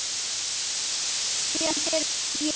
Héðan fer ég bráðum.